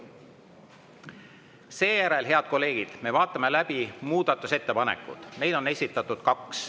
Seejärel, head kolleegid, me vaatame läbi muudatusettepanekud, neid on esitatud kaks.